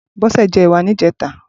Bose jè èwà nijètá